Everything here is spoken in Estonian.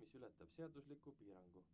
mis ületab seadusliku piirangu